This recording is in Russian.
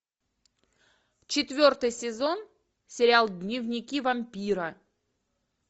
четвертый сезон сериал дневники вампира